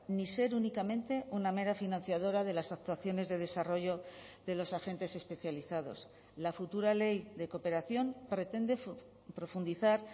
ni ser únicamente una mera financiadora de las actuaciones de desarrollo de los agentes especializados la futura ley de cooperación pretende profundizar